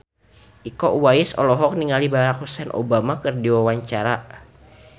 Iko Uwais olohok ningali Barack Hussein Obama keur diwawancara